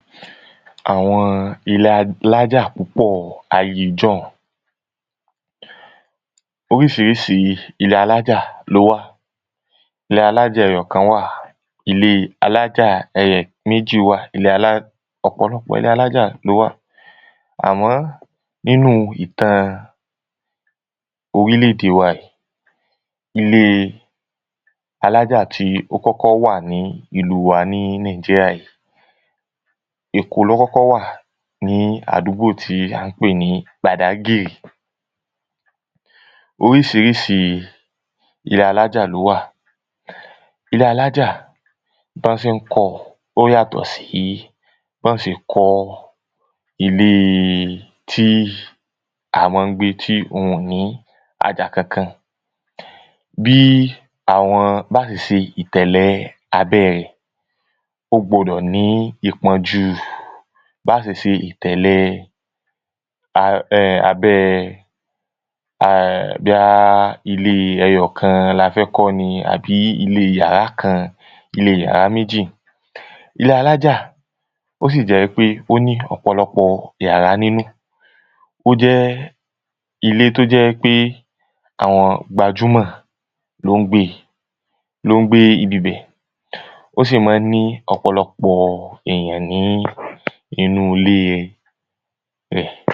Àwo̩n ilé alájà púpò̩ ayée jó̩un. Orís̩irís̩i ilé alájà ló wà. Ilé alájà e̩yo̩kan wà. Ilé alájà è̩ méjì wà. Ilé alá ò̩pò̩lo̩pò̩ ilé alájà ló wà. Àmó̩ inú ìtàn orílè̩-èdè wa yí, ilé alájà tí ó kó̩kó̩ wà ní ìlú wa ní Nigeria, Èkó ló wà ní àdúgbò tí à ń pè ní gbàdágìrì. Orís̩irís̩i ilé alájà ló wà. Ilé alájà, bó̩n sé ń kó̩ o̩ ó yàtò̩ sí bó̩n se kó̩ ilé tí à mó̩ ń gbé tí oun ò ní àjà kankan. Bí àwo̩n bá se se ìtè̩lè̩ abé̩ rè̩ ó gbó̩dò̩ ní ipo̩n jú bá se se ìtè̩le̩ um abé̩ bó̩yá ilé e̩yo̩kan la fé̩ kó̩ ni àbí ilé yàrá kan, ilé yàrá méjì.̀ Ilé alájà ó sì jé̩ pé ó ní ò̩pò̩lo̩pò̩ yàrá nínú. Ó jé̩ ilé tó je̩ wípé àwo̩n gbajúmò̩ ló ń gbé e ló ń gbé ibibè̩. Ó sì má ń ní ò̩pò̩lo̩pò̩ èyàn ní inú ilé rè̩.